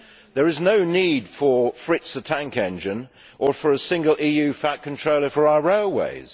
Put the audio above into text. There is no need for Fritz the Tank Engine or for a single EU Fat Controller for our railways.